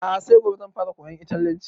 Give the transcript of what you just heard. A'a sai gobe zan fara koyan italyanci